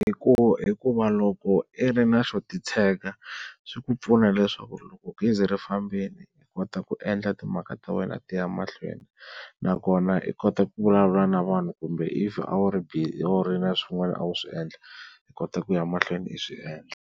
hikuva loko i ri na xo titshega swi ku pfuna leswaku loko gezi ri fambini i kota ku endla timhaka ta wena ti ya mahlweni, nakona i kota ku vulavula na vanhu kumbe if a wu ri busy a wu ri na swin'wana a wu swi endla i kota ku ya mahlweni i swi endla.